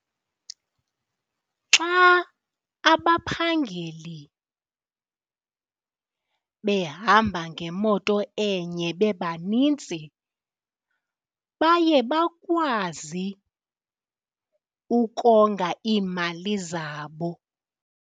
Xa abaphangeli behamba ngemoto enye bebaninzi baye bakwazi ukonga iimali zabo.